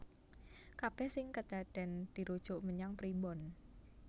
Kabèh sing kedadèn dirujuk menyang primbon